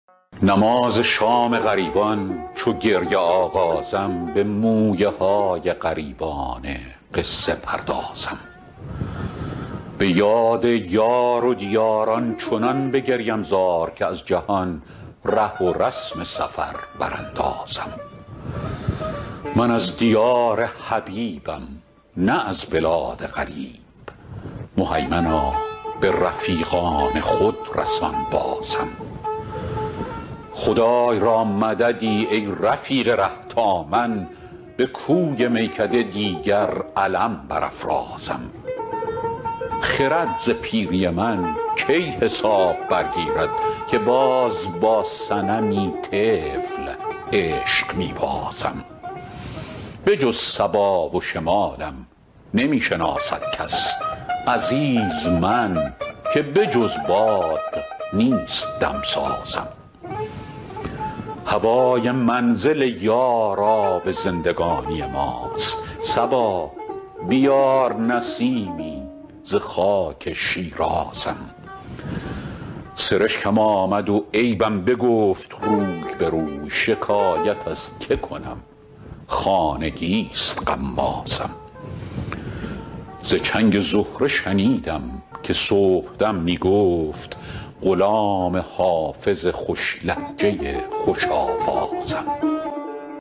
نماز شام غریبان چو گریه آغازم به مویه های غریبانه قصه پردازم به یاد یار و دیار آنچنان بگریم زار که از جهان ره و رسم سفر براندازم من از دیار حبیبم نه از بلاد غریب مهیمنا به رفیقان خود رسان بازم خدای را مددی ای رفیق ره تا من به کوی میکده دیگر علم برافرازم خرد ز پیری من کی حساب برگیرد که باز با صنمی طفل عشق می بازم بجز صبا و شمالم نمی شناسد کس عزیز من که بجز باد نیست دم سازم هوای منزل یار آب زندگانی ماست صبا بیار نسیمی ز خاک شیرازم سرشکم آمد و عیبم بگفت روی به روی شکایت از که کنم خانگی ست غمازم ز چنگ زهره شنیدم که صبح دم می گفت غلام حافظ خوش لهجه خوش آوازم